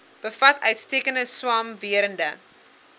bevat uitstekende swamwerende